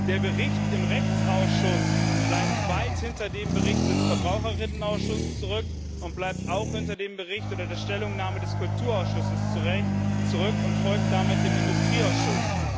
Der Bericht im Rechtsausschuss bleibt weit hinter dem Bericht des Verbraucher Ausschusses zurück, und er bleibt zu Recht auch hinter dem Bericht oder der Stellungnahme des Kulturausschusses zurück und folgt damit dem Industrieausschuss.